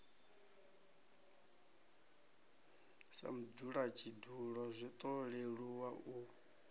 sa mudzulatshidulo zwiṱo leluwa u